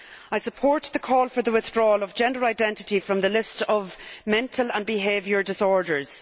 I support the call for the withdrawal of gender identity from the list of mental and behavioural disorders.